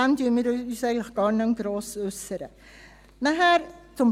Dazu äussern wir uns eigentlich gar nicht mehr gross.